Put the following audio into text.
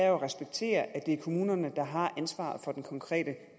at respektere at det er kommunerne der har ansvaret for den konkrete